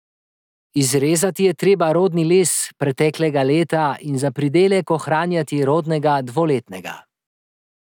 Izrezati je treba rodni les preteklega leta in za pridelek ohranjati rodnega dvoletnega.